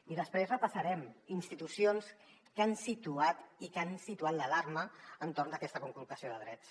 i després repassarem institucions que han situat l’alarma entorn d’aquesta conculcació de drets